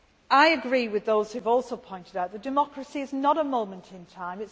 I agree with those who have also pointed out that democracy is not a moment in time.